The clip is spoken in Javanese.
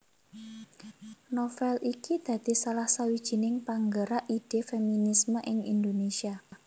Novél iki dadi salah sawijining panggerak ide feminisme ing Indonesia